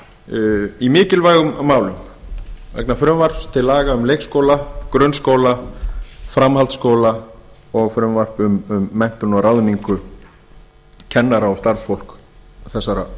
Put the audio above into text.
menntamálanefndar í mikilvægum málum vegna frumvarps til laga um leikskóla grunnskóla framhaldsskóla og frumvarp um menntun og ráðningu kennara og starfsfólk þessara